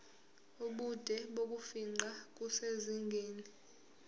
ubude bokufingqa kusezingeni